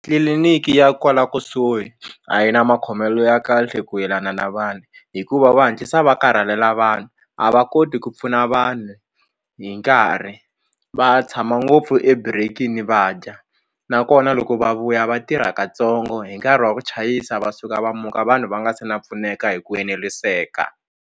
Tliliniki ya kwala kusuhi a yi na makhomelo ya kahle ku yelana na vanhu hikuva va hatlisa va karhalela vanhu a va koti ku pfuna vanhu hi nkarhi va tshama ngopfu eburekini va dya nakona loko va vuya va tirha katsongo hi nkarhi wa ku chayisa va suka va muka vanhu va nga se na pfuneka hi ku eneriseka.